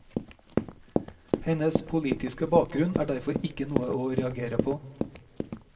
Hennes politiske bakgrunn er derfor ikke noe å reagere på.